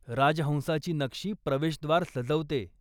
राजहंसाची नक्षी प्रवेशद्वार सजवते.